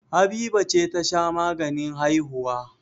Habiba ce ta sha maganin haihuwa.